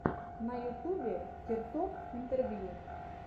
на ютубе киртоп интервью